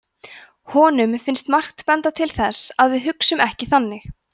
honum finnst margt benda til þess að við hugsum ekki þannig